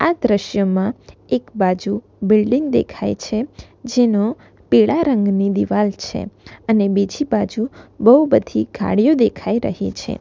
આ દ્રશ્યમાં એક બાજુ બિલ્ડીંગ દેખાય છે જેનો પીળા રંગની દીવાલ છે અને બીજી બાજુ બહુ બધી ગાડીઓ દેખાઈ રહી છે.